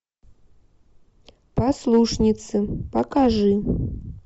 послушницы покажи